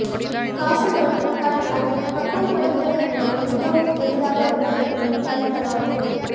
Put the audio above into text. காசநோய் கண் அது பக்குவப்படுத்துவதைவிட மிகவும் எளிதாக உள்ளது தடுக்கலாம்